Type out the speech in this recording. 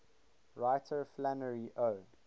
writer flannery o